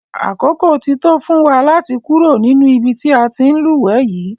Àkókò ti tó fún wa láti kúrò nínú ibi tí a ti ń lúwẹ̀ẹ́ yìí.